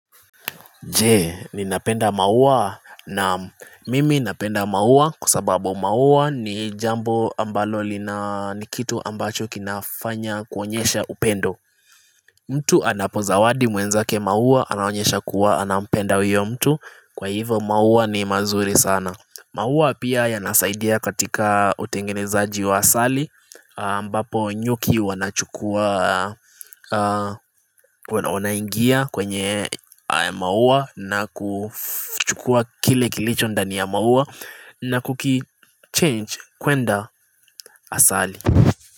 Je, ninapenda maua? Naam, mimi napenda maua kwa sababu maua ni jambo ambalo lina ni kitu ambacho kinafanya kuonyesha upendo mtu anapozawadi mwenzake maua anaonyesha kuwa anampenda huyo mtu kwa hivyo maua ni mazuri sana maua pia yanasaidia katika utengenezaji wa asali ambapo nyuki wanachukua wanaingia kwenye maua na kuchukua kile kilicho ndani ya maua na kukichange kwenda asali.